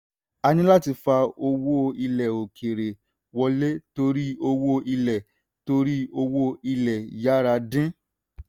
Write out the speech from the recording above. a ní láti fà owó ilẹ̀ òkèèrè wọlé torí owó ilẹ̀ torí owó ilẹ̀ yára dín.